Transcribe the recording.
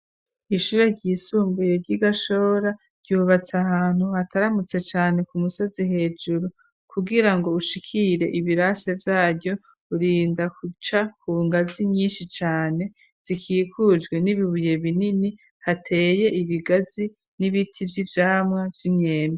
Ishure ry'isumbuye ry'igashora ryubatse ahantu hataramutse cane ku musozi hejuru kungira ngo ushikire ibirase vyaryo urinda guca kungazi nyinshi cane zikikujwe n'ibibuye binini hateye ibigazi n'ibiti vy'ivyamwa vy'imyembe.